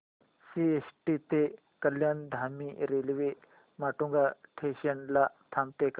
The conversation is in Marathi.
सीएसटी ते कल्याण धीमी रेल्वे माटुंगा स्टेशन ला थांबते का